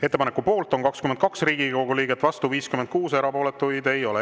Ettepaneku poolt on 22 Riigikogu liiget, vastu 56, erapooletuid ei ole.